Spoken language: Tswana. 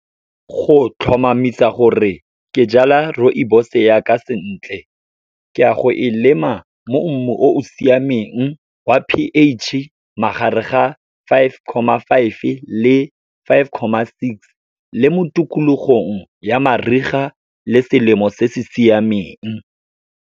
Go tlhomamisa gore ke jala rooibos-e ya ka sentle, ke ya go e lema mo mmu o o siameng wa p_H, magareng ga five comma five le five comma six, le mo tikologong ya mariga le selemo se se siameng.